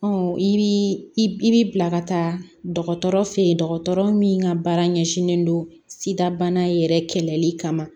i bi i bi bila ka taa dɔgɔtɔrɔ fe yen dɔgɔtɔrɔ min ka baara ɲɛsinnen don sida yɛrɛ kɛlɛli kama ma